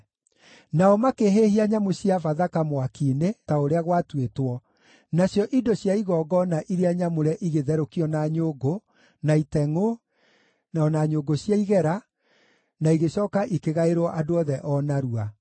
Nao makĩhĩhia nyamũ cia Bathaka mwaki-inĩ, ta ũrĩa gwatuĩtwo, nacio indo cia igongona iria nyamũre igĩtherũkio na nyũngũ, na itengʼũ, o na nyũngũ cia igera, na igĩcooka ikĩgaĩrwo andũ othe o narua.